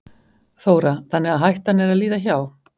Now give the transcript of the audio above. Þóra: Þannig að hættan er að líða hjá?